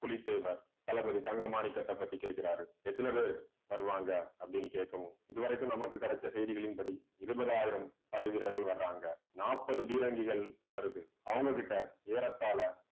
புலித்தேவர் தளபதி தங்க மாணிக்கத்தைப் பத்தி கேட்கிறாரு. எத்தன பேர் வருவாங்க அப்படின்னு கேட்கவும் இது வரைக்கும் நமக்கு கிடைச்ச செய்திகளின் படி இருபதாயிரம் படை வீரர்கள் வராங்க. நாற்பது பீரங்கிகள் வருது அவங்க கிட்ட ஏறத்தாழ